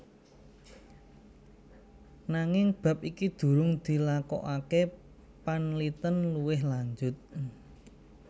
Nanging bab iki durung dilakokaké panlitèn luwih lanjut